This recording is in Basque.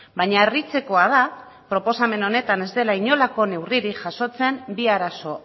baina harritzekoa da proposamen honetan ez dela inolako neurririk jasotzen bi arazo